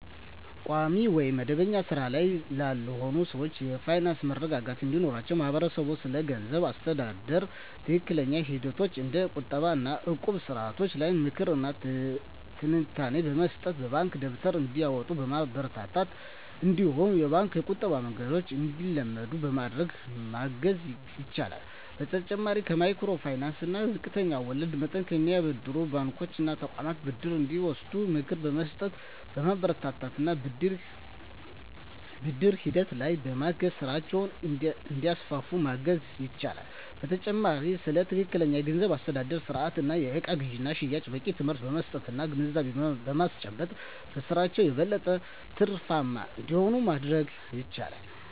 ቋሚ ወይም መደበኛ ሥራ ላይ ላልሆኑ ሰዎች የፋይናንስ መረጋጋት እንዲኖራቸው ማህበረሰቡ ስለገንዘብ አስተዳደር ትክክለኛ ሂደቶች እንደ ቁጠባ እና እቁብ ስርዓቶች ላይ ምክር እና ትንታኔ በመስጠት፣ የባንክ ደብተር እንዲያወጡ በማበረታታት እነዲሁም የባንክ የቁጠባ መንገድን እንዲለምዱ በማድረግ ማገዝ ይችላል። በተጨማሪም ከማይክሮ ፋይናንስ እና ዝቅተኛ ወለድ መጠን ከሚያበድሩ ባንኮች እና ተቋማት ብድር እንዲወስዱ ምክር በመስጠት፣ በማበረታታት እና ብድር ሂደቱ ላይም በማገዝ ስራቸውን እንዲያስፋፉ ማገዝ ይቻላል። በተጨማሪም ስለ ትክክለኛ የገንዘብ አስተዳደር ስርአት እና የእቃ ግዥና ሽያጭ በቂ ትምህርት በመስጠት እና ግንዛቤ በማስጨበጥ በስራቸው የበለጠ ትርፋማ እንዲሆኑ ማድረግ ይቻላል።